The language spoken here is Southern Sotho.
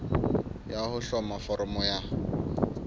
ya ho hloma foramo ya